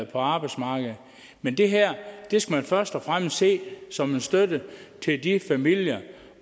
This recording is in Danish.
på arbejdsmarkedet men det her skal man først og fremmest se som en støtte til de familier